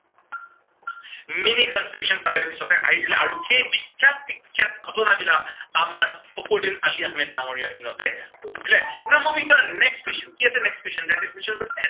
mini constitution তাৰে পিছতে আহিছিলে আৰু সেই বিখ্য়াত বিখ্য়াত ঘটনাবিলাক আমাৰ ফখৰুদ্দিন আলি আহমেদ ডাঙৰীয়াৰ দিনতে হৈছিলে। now moving to our next question, next question